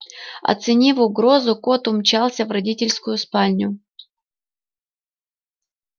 оценив угрозу кот умчался в родительскую спальню